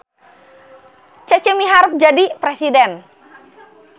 Cece miharep jadi presiden